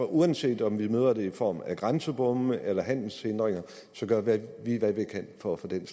uanset om vi møder det i form af grænsebomme eller handelshindringer så gør hvad vi kan for at få den